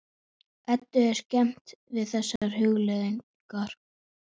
Eddu er skemmt við þessar hugleiðingar.